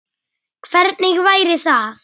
Hvernig væri það?